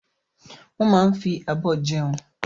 Wọ́n máa ń fi abọ́ jẹun.